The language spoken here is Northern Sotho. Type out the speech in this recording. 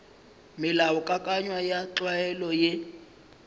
melaokakanywa ya tlwaelo ye e